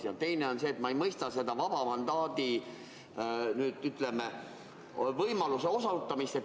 Ja teine on see, et ma ei mõista seda vaba mandaadiga.